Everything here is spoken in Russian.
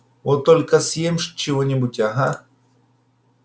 вот только съем чего-нибудь ага